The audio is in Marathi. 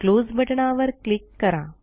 क्लोज बटणावर क्लिक करा